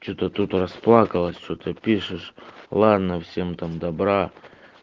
что-то тут расплакалась что-то пишешь ладно всем там добра